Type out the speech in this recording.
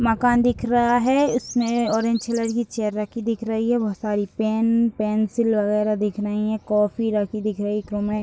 मकान दिख रहा है इसमें ऑरेंज कलर की चेयर रखी दिख रही है बहोत सारे पेन पेन्सिल वगैरा दिख रही है कॉपी रखी दिख रही है एक रूम है।